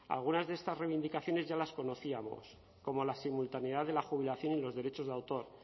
algunas de estas reivindicaciones ya las conocíamos como la simultaneidad de la jubilación y los derechos de autor